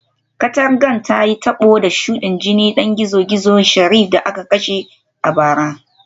Katangar ta yi tabo da shudin jinin dan gizo-gizo Sheriff da aka kashe a bara